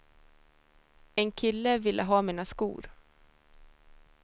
En kille ville ha mina skor.